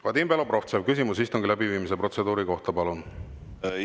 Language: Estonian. Vadim Belobrovtsev, küsimus istungi läbiviimise protseduuri kohta, palun!